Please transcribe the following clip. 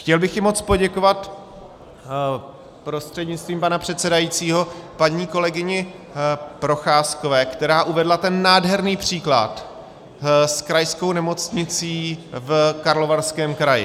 Chtěl bych i moc poděkovat prostřednictvím pana předsedajícího paní kolegyni Procházkové, která uvedla ten nádherný příklad s krajskou nemocnicí v Karlovarském kraji.